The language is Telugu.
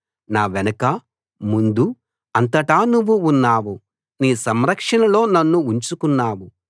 నా వెనకా ముందూ అంతటా నువ్వు ఉన్నావు నీ సంరక్షణలో నన్ను ఉంచుకున్నావు